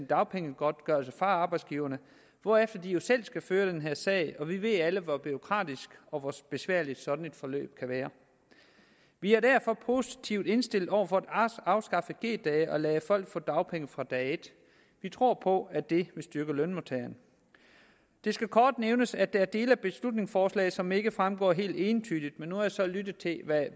dagpengegodtgørelse fra arbejdsgiverne hvorefter de jo selv skal føre den her sag og vi ved alle hvor bureaukratisk og besværligt sådan et forløb kan være vi er derfor positivt indstillet over for at afskaffe g dage og lade folk få dagpenge fra dag et vi tror på at det vil styrke lønmodtageren det skal kort nævnes at der er dele af beslutningsforslaget som ikke fremstår helt entydigt men nu har jeg så lyttet til